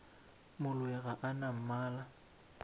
moloi ga a na mmala